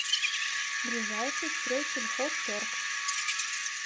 ближайший стройсельхозторг